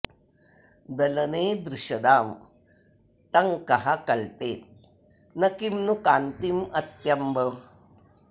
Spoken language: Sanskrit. दलने दृषदां टङ्कः कल्पेत न किं नु कान्तिमत्यम्ब